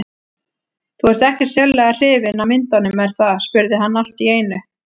Þú ert ekkert sérlega hrifin af myndunum, er það? spurði hann allt í einu.